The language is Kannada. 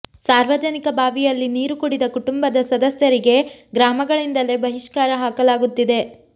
ಸಾರ್ವಜನಿಕ ಬಾವಿಯಲ್ಲಿ ನೀರು ಕುಡಿದ ಕುಟುಂಬದ ಸದಸ್ಯರಿಗೆ ಗ್ರಾಮಗಳಿಂದಲೇ ಬಹಿಷ್ಕಾರ ಹಾಕಲಾಗುತ್ತಿದೆ